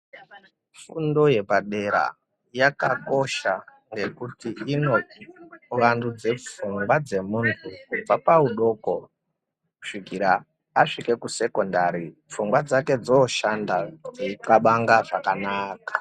Fundo yepadera yakakosha ngekuti inovandutsa pfungwa muntu kubva paudiki kusvika asvika kusekondari pfungwa dzake dzooshanda dzeikabanga zvakanaka.